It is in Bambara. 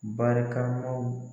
Barikamaw